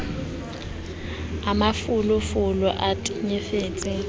e mafolo folo e tenyetsehang